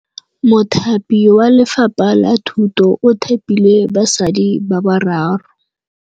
Mothapi wa Lefapha la Thutô o thapile basadi ba ba raro.